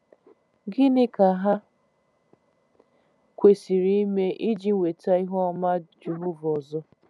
Gịnị ka ha kwesịrị ime iji nweta ihu ọma Jehova ọzọ?